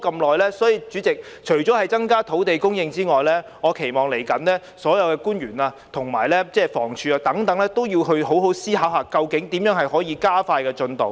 代理主席，除了增加土地供應之外，我期望未來所有官員和房屋署等，要好好思考如何能夠加快進度。